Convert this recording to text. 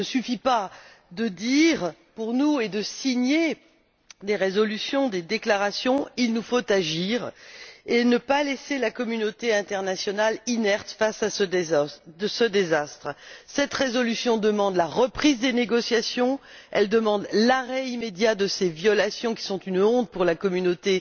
Il ne suffit pas de le dire et de signer des résolutions et des déclarations, il nous faut agir et ne pas laisser la communauté internationale inerte face à ce désastre. Cette résolution demande la reprise des négociations, l'arrêt immédiat de ces violations, qui sont une honte pour la communauté